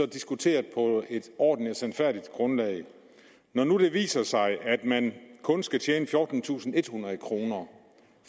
diskuterede på et ordentligt og sandfærdigt grundlag når nu det viser sig at man kun skal tjene fjortentusinde og ethundrede kroner